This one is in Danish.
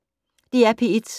DR P1